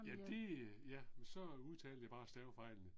Ja det øh, ja, så udtalte jeg bare stavefejlene